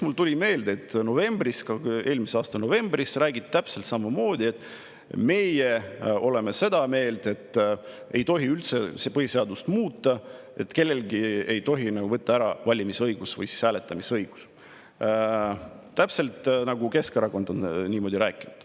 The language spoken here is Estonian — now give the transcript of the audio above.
Mulle tuli meelde, et eelmise aasta novembris räägiti täpselt samamoodi, et nemad on seda meelt, et ei tohi üldse põhiseadust muuta, et kelleltki ei tohi võtta ära valimisõigust või hääletamisõigust, täpselt nagu Keskerakond on rääkinud.